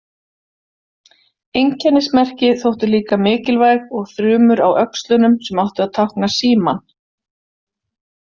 Einkennismerki þóttu líka mikilvæg og þrumur á öxlunum sem áttu að tákna símann.